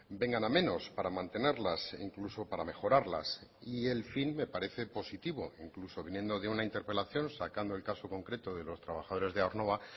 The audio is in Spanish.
vengan a menos para mantenerlas incluso para mejorarlas y el fin me parece positivo incluso viniendo de una interpelación sacando el caso concreto de los trabajadores de aernnova